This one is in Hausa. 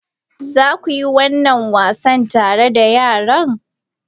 Za ku yi wannan wasan tare da yara?